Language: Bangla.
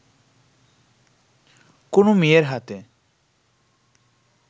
কোনো মেয়ের হাতে